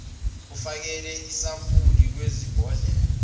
ufakele isampuli kwibhodlela